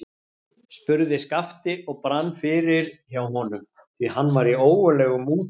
spurði Skapti og brann fyrir hjá honum, því hann var í ógurlegum mútum.